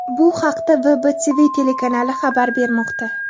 Bu haqda WBTV telekanali xabar bermoqda .